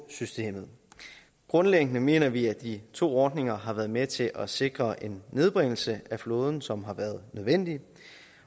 systemet grundlæggende mener vi at de to ordninger har været med til at sikre en nedbringelse af flåden som har været nødvendig